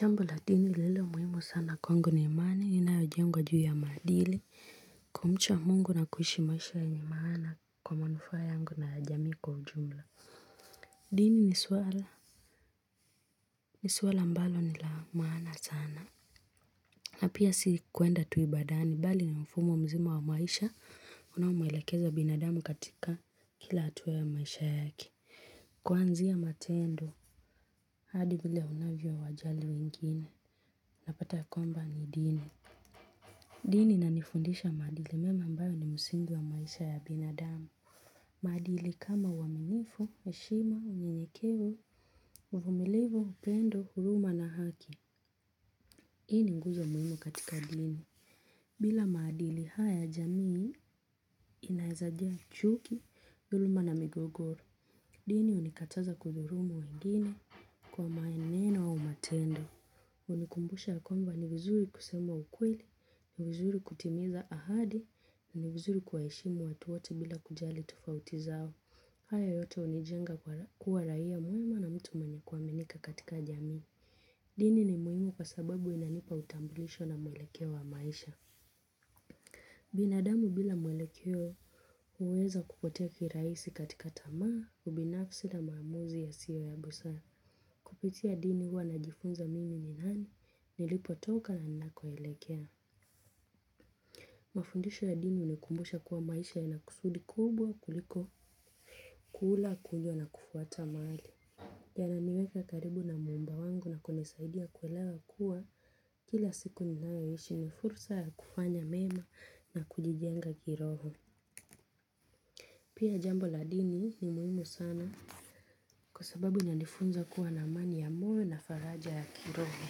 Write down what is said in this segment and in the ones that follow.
Jambo la dini lililo muhimu sana kwangu ni amani inayojengwa juu ya madili. Kumcha mungu na kuishi maisha yenye maana kwa manufaa yangu na jamii kwa ujumla. Dini ni swala. Ni swala ambalo ni la maana sana na pia si kwenda tu ibadani mbali ni mfumo mzima wa maisha unao muelekeza binadamu katika kila hatua ya maisha yake. Kuanzia matendo hadi vile unavyowajali wengine unapata ya kwamba ni dini. Dini inanifundisha maadili mema ambayo ni msingi wa maisha ya binadamu. Maadili kama uaminifu, heshima, unye nyekevu, uvumilivu upendo, huruma na haki. Hii ni nguzo muhimu katika dini. Bila maadili haya jamii inaeza jaa chuki, dhuluma na migogoro. Dini hunikataza kudhulumu wengine kwa maneno au matendo. Unikumbusha ya kwamba ni vizuri kusema ukweli, ni vizuri kutimiza ahadi. Ni vizuri kuwaheshimu watu wote bila kujali tofauti zao. Haya yote unijenga kuwa raia mwema na mtu mwenye kuaminika katika jamii. Dini ni muhimu kwa sababu inanipa utambulisho na mwelekeo wa maisha. Binadamu bila mwelekeo huweza kupotea kirahisi katika tamaa. Ubinafsi na maamuzi yasiyo ya busara. Kupitia dini huwa najifunza mimi ni nani. Nilipotoka na ninakoelekea. Mafundisho ya dini unikumbusha kuwa maisha yana kusudi kubwa kuliko kula kunywa na kufuata mahali yananiweka karibu na muumba wangu na kunisaidia kuelewa kuwa kila siku ninapoishi ni fursa ya kufanya mema na kujijenga kiroho. Pia jambo la dini ni muhimu sana. Kwa sababu inanifunza kuwa na amani ya moyo na faraja ya kiroho.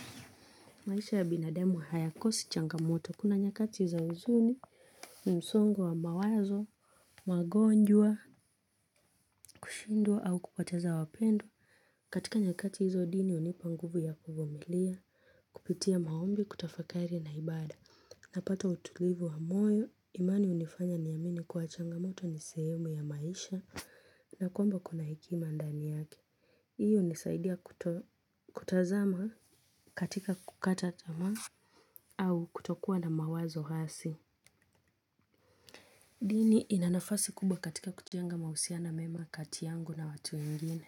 Maisha ya binadamu hayakosi changamoto kuna nyakati za huzuni na msongo mawazo. Magonjwa, kushindwa au kupoteza wapendwa. Katika nyakati hizo dini unipa nguvu ya kuvumilia. Kupitia maombi, kutafakari na ibada. Napata utulivu wa moyo. Imani hunifanya niamini kuwa changamoto ni sehemu ya maisha na kwamba kuna hekima ndani yake. Hiyo unisaidia kutazama katika kukata tamaa. Au kutokuwa na mawazo hasi. Dini ina nafasi kubwa katika kujenga mahusiano mema kati yangu na watu wengine.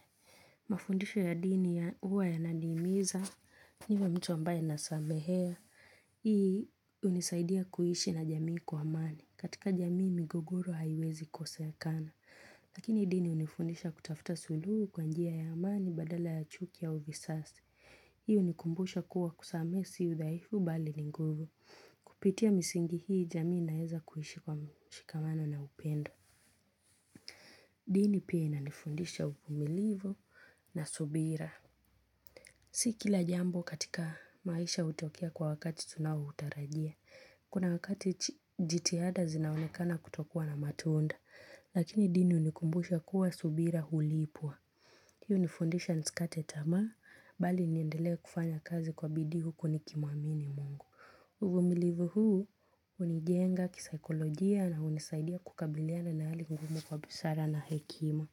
Mafundisho ya dini huwa yananiimiza, niwe mtu ambaye nasamehea. Hii unisaidia kuishi na jamii kwa amani. Katika jamii migogoro haiwezi kosekana. Lakini dini unifundisha kutafuta suluhu kwa njia ya amani badala ya chuki au visasi. Hii unikumbusha kuwa kusamehe si udhaifu bali ni nguvu. Kupitia misingi hii jamii inaeza kuishi kwa mshikamano na upendo. Dini pia inanifundisha uvumilivu na subira. Si kila jambo katika maisha hutokea kwa wakati tunaotarajia. Kuna wakati jitihada zinaonekana kutokuwa na matunda. Lakini dini unikumbusha kuwa subira hulipwa. Hiyo ni foundation nisikate tamaa mbali niendelee kufanya kazi kwa bidii huku nikimuamini mungu. Uvumilivu huu unijenga kisaekolojia na hunisaidia kukabiliana na hali ngumu kwa busara na hekima.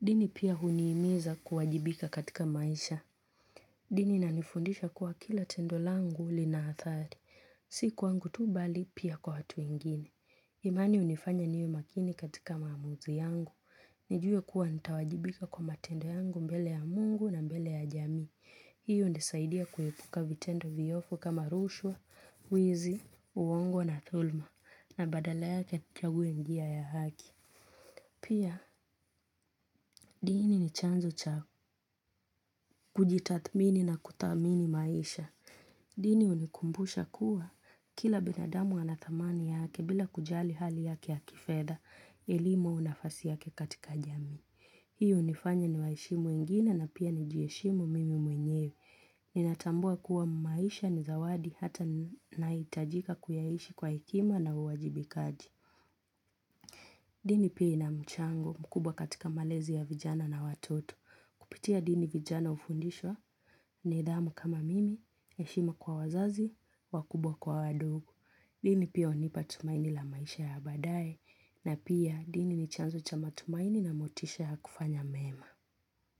Dini pia huniimiza kuwajibika katika maisha. Dini inanifundisha kuwa kila tendo langu lina hadhari. Si kwangu tu bali pia kwa watu wengine. Imani hunifanya niwe makini katika maamuzi yangu. Nijue kuwa nitawajibika kwa matendo yangu mbele ya mungu na mbele ya jami. Hiyo unisaidia kuepuka vitendo vyofu kama rushwa, wizi, uongo na dhuluma na badala yake nichague njia ya haki. Pia, dini ni chanzo cha kujitadhmini na kudhamini maisha. Dini hunikumbusha kuwa kila binadamu ana dhamani yake bila kujali hali yake ya kifedha elimu na nafasi yake katika jami. Hiyo hunifanya niwaheshimu wengine na pia nijiheshimu mimi mwenyewe. Ninatambua kuwa maisha ni zawadi hata nahitajika kuyaishi kwa hekima na uwajibikaji. Dini pia ina mchango mkubwa katika malezi ya vijana na watoto. Kupitia dini vijana hufundishwa nidhamu kama mimi, heshima kwa wazazi, wakubwa kwa wadogo. Dini pia hunipa tumaini la maisha ya badaye na pia dini ni chanzo cha matumaini na motisha ya kufanya mema.